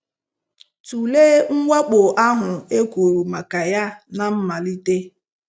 Tụlee mwakpo ahụ e kwuru maka ya ná mmalite.